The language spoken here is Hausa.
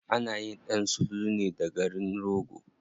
Anayin ɗan sululu ne da garin rogo.